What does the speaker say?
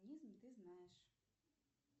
ты знаешь